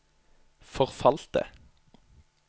forfalte